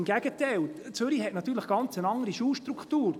Im Gegenteil: Zürich hat natürlich eine ganz andere Schulstruktur;